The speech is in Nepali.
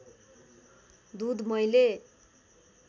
दुध मैले